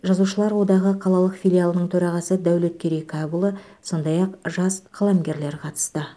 жазушылар одағы қалалық филиалының төрағасы дәулеткерей кәпұлы сондай ақ жас қаламгерлер қатысты